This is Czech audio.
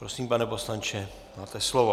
Prosím, pane poslanče, máte slovo.